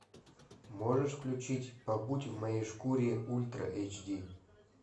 можешь включить побудь в моей шкуре ультра эйч ди